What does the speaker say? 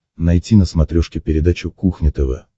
найти на смотрешке передачу кухня тв